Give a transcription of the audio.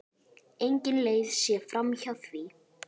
Engin leið sé framhjá því.